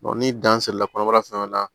ni dan serila kɔnɔbara fɛngɛw la